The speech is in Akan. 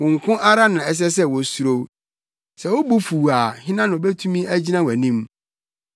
Wo nko ara na ɛsɛ sɛ wosuro wo. Sɛ wo bo fuw a hena na obetumi agyina wʼanim?